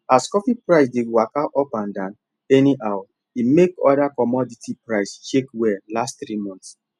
as coffee price dey waka up and down anyhow e make other commodity prices shake well last three months